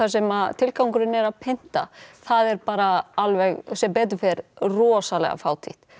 sem tilgangurinn er að pynta það er bara alveg sem betur fer rosalega fátítt